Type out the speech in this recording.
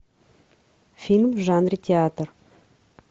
фильм в жанре театр